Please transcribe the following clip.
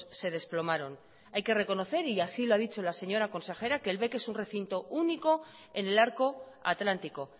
se desplomaron hay que reconocer y así lo ha dicho la señora consejera que el bec es un recinto único en el arco atlántico